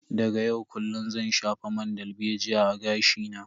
Daga yau kullun zan shafa man dalbejiya a gashi na.